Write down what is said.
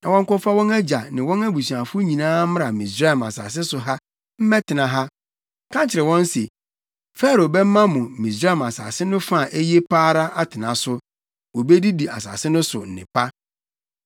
na wɔnkɔfa wɔn agya ne wɔn abusuafo nyinaa mmra Misraim asase so ha mmɛtena ha. Ka kyerɛ wɔn se, ‘Farao bɛma mo Misraim asase no fa a eye pa ara atena so. Wobedi asase no so nnepa!’